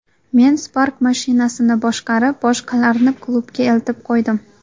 Men Spark mashinasini boshqarib, boshqalarni klubga eltib qo‘ydim.